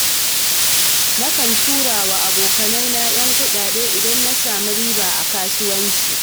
Na kan turawa abokanaina 'yan kuɗaɗe, idan na sami riba a kasuwancina.